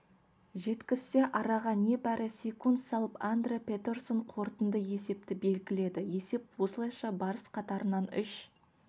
жеткізсе араға небәрі секунд салып андре петерсон қорытынды есепті белгіледі есеп осылайша барыс қатарынан үш